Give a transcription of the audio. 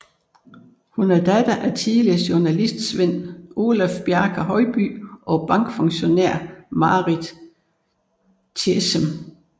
Hun er datter af tidligere journalist Sven Olaf Bjarte Høiby og bankfunktionær Marit Tjessem